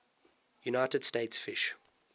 united states fish